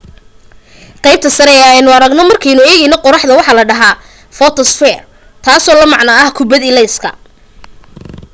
qaybta sare ee aynu aragno markaynu eegno qorraxda waxa la dhahaa footosphere taasoo la macno ah kubbad ilaysa